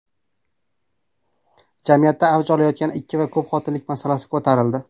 Jamiyatda avj olayotgan ikki va ko‘p xotinlik masalasi ko‘tarildi.